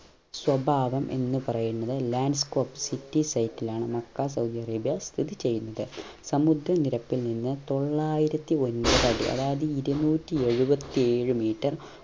സ്വഭാവം എന്നുപറയുന്നത് land scope city site ലാണ് മക്ക സൗദി അറേബ്യ സ്ഥിതി ചെയുന്നത് സമുദ്ര നിരക്കിൽ നിന്ന് തൊള്ളായിരത്തി ഒൻപത് അടി അതായത് ഇരൂന്നൂറ്റി ഏഴുവത്തിയേഴ് meter